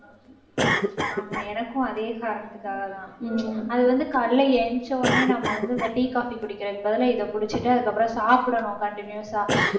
ஆமா எனக்கும் அதே காரணத்துக்காகதான் அது வந்து காலையிலே எழுந்திரிச்ச உடனே நம்ம வந்து இந்த tea, coffee குடிக்கிறதுக்கு பதிலா இதை குடிச்சிட்டு அதுக்கப்புறம் சாப்பிடணும் continuous ஆ.